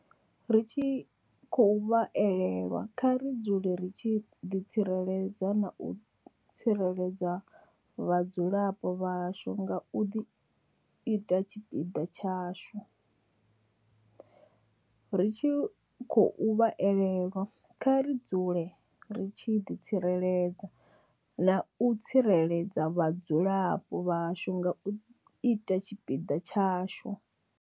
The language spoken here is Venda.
Ri tshi khou vha elelwa, kha ri dzule ri tshi ḓi tsireledza na u tsireledza vhadzulapo vhashu nga u ita tshipiḓa tshashu. Ri tshi khou vha elelwa, kha ri dzule ri tshi ḓi tsireledza na u tsireledza vhadzulapo vhashu nga u ita tshipiḓa tshashu.